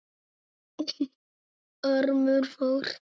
Ormur fór.